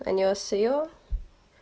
понёс её